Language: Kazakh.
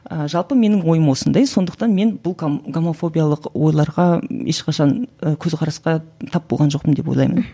жалпы менің ойым осындай сондықтан мен бұл гомофобиялық ойларға ешқашан ы көзқарасқа тап болған жоқпын деп ойлаймын